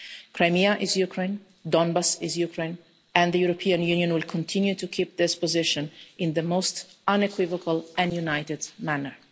Crimea is Ukraine, Donbas is Ukraine, and the European Union will continue to keep this position in the most unequivocal and united manner.